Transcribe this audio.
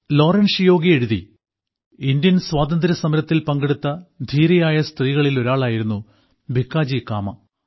ലോറൻഷിയോ എഴുതി ഇന്ത്യൻ സ്വാതന്ത്ര്യസമരത്തിൽ പങ്കെടുത്ത ധീരയായ സ്ത്രീകളിൽ ഒരാളായിരുന്നു ഭിക്കാജി കാമ